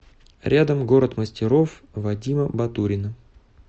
рядом город мастеров вадима батурина